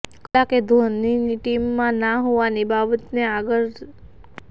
ક્લાર્કે ધોનીના ટીમમા ના હોવાની વાતને આગળ કરી હતી